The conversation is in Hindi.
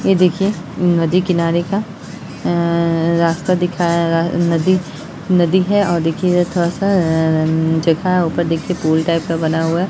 ये देखिये नदी किनारे का अ रास्ता दिखाया अअ नदी नदी है और देखिये इधर थोड़ा सा अअ जगह है ऊपर देखिए पूल टाइप का बना हुआ है।